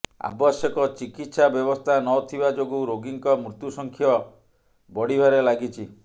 ଆବଶ୍ୟକ ଚିକିତ୍ସା ବ୍ୟବସ୍ଥା ନ ଥିବା ଯୋଗୁ ରୋଗୀଙ୍କ ମୃତ୍ୟୁସଂଖ୍ୟ ବଢିବାରେ ଲାଗିଛି